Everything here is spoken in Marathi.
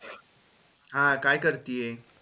हा काय करतीय?